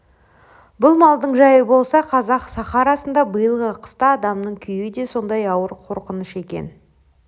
бұл малдың жайы болса қазақ сахарасында биылғы қыста адамның күйі де сондай ауыр қорқыныш екен